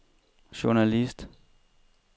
journalist